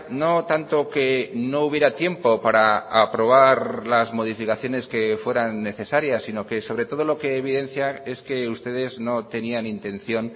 no tanto que no hubiera tiempo para aprobar las modificaciones que fueran necesarias sino que sobre todo lo que evidencia es que ustedes no tenían intención